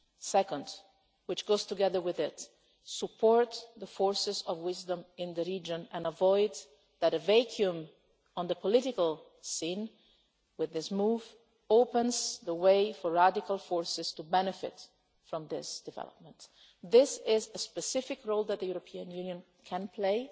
Second and this goes together with it to support the forces of wisdom in the region and to avoid a vacuum on the political scene, which would open the way for radical forces to benefit from this development. This is a specific role that the European Union can